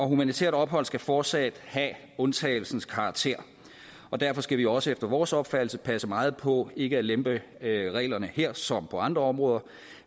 humanitært ophold skal fortsat have undtagelsens karakter derfor skal vi også efter vores opfattelse passe meget på ikke at lempe reglerne her som på andre områder